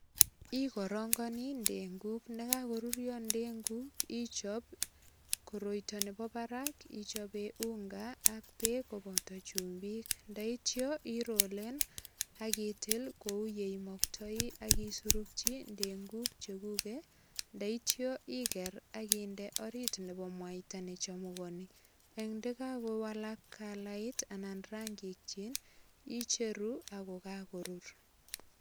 Igirongani ndenguk ndakakorurio ndenguk ichop koroito nebo barak ichope unga ak beek koboto chumbik. Ndaityo irolen ak itil kuyeimoktoi ak isurukyi ndenguk cheguge yeityo iger ak inde orit nebo mwaita nechumugani. Ak ndakakowalak kalait anan rangikyik icheru ago kakorur.